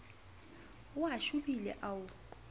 a o shobile a o